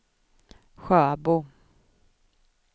Sjöbo